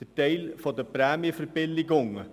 der Teil der Prämienverbilligungen.